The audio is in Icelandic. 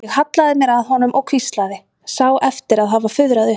Ég hallaði mér að honum og hvíslaði, sá eftir að hafa fuðrað upp.